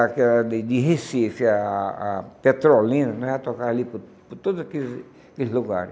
Aquela de de Recife, a a a Petrolina, nós ia tocar ali por por todos aqueles aqueles lugares.